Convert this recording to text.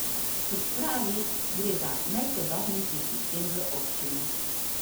Kot pravi, gre za najsodobnejši sistem v občini.